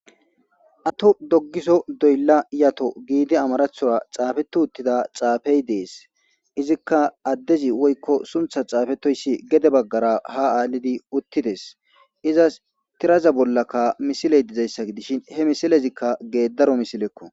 At dogeso doyla yato gidi amarathora xafeti utida xafey des izika adezi woyko suthas xafetoys gede bagara ha alidi utides izas tiraza bollaka misiley dizaysa gidishn he misilez gedaro misileko